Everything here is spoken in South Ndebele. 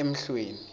emhlweni